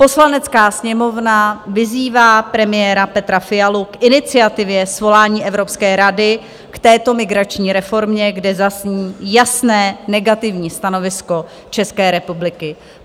Poslanecká sněmovna vyzývá premiéra Petra Fialu k iniciativě svolání Evropské rady k této migrační reformě, kde zazní jasné negativní stanovisko České republiky."